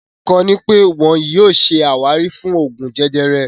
Kọ́ni pẹ tíì wọn yìí ó ṣe ṣé àwárí Oògún jẹjẹrẹ